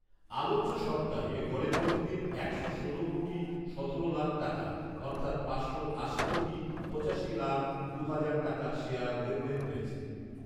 আলোচ্য সপ্তাহে গড়ে প্রতিদিন একশো ষোল কোটি সতেরো লাখ টাকা অর্থাৎ পাঁচশো আশি কোটি পঁচাশি লাখ দু হাজার টাকার শেয়ার লেনদেন হয়েছে